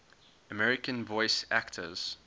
american voice actors